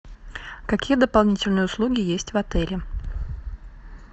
какие дополнительные услуги есть в отеле